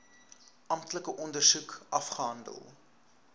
amptelike ondersoek afgehandel